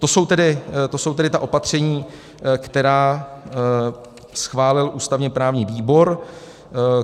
To jsou tedy ta opatření, která schválil ústavně-právní výbor.